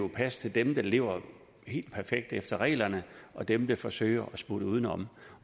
passe til dem der lever perfekt efter reglerne og dem der forsøger at smutte udenom